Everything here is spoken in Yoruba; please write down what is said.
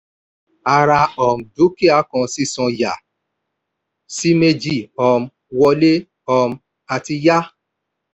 a ra um dúkìá kan sísan yà sí méjì: um wọlé um àti yá.